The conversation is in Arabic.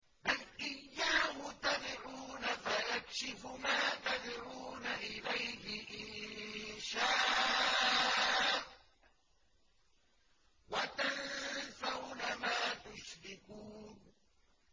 بَلْ إِيَّاهُ تَدْعُونَ فَيَكْشِفُ مَا تَدْعُونَ إِلَيْهِ إِن شَاءَ وَتَنسَوْنَ مَا تُشْرِكُونَ